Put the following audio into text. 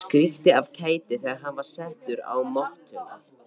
Skríkti af kæti þegar hann var settur á mottuna.